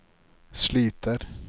sliter